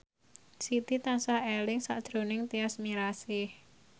Siti tansah eling sakjroning Tyas Mirasih